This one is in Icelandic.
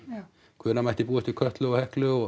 hvenær mætti búast við Kötlu og Heklu og